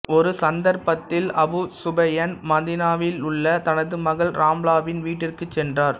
ஒரு சந்தர்ப்பத்தில் Abu Sufyan மதீனாவிலுள்ள தனது மகள் ராம்லாவின் வீட்டிற்குச் சென்றார்